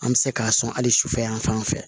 An bɛ se k'a sɔn hali sufɛ yan fan fɛ